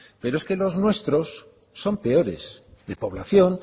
pero es que los nuestros son peores de población